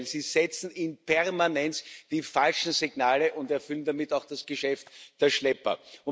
Im Gegenteil, Sie setzen in Permanenz die falschen Signale und erfüllen damit auch das Geschäft der Schlepper.